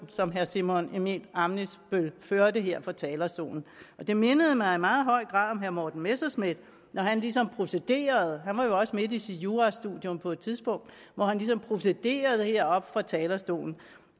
som herre simon emil ammitzbøll førte her fra talerstolen det mindede mig i meget høj grad om herre morten messerschmidt når han ligesom procederede han var jo også midt i sit jurastudium på et tidspunkt hvor han ligesom procederede heroppe fra talerstolen